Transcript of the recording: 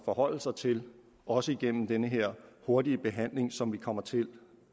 forholde sig til også igennem den her hurtige behandling som vi kommer til